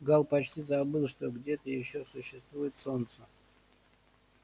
гаал почти забыл что где-то ещё существует солнце